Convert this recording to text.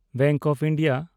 bank of India